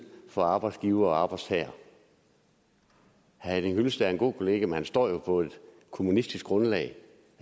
for arbejdsgivere og arbejdstagere herre henning hyllested er en god kollega men han står jo på et kommunistisk grundlag